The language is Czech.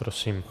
Prosím.